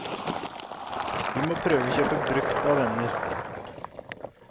Vi må prøve å kjøpe brukt av venner.